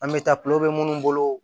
An bɛ taa minnu bolo